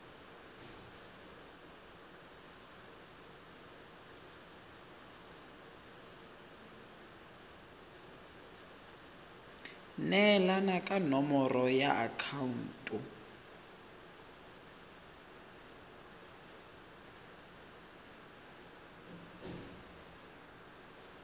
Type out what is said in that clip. neelana ka nomoro ya akhaonto